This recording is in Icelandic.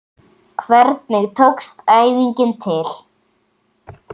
Hvernig tókst æfingin til?